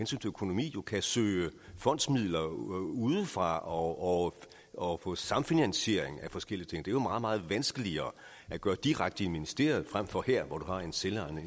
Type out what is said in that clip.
til økonomi kan søge fondsmidler udefra og og få samfinansiering af forskellige ting det er jo meget meget vanskeligere at gøre direkte i ministeriet frem for her hvor du har en selvejende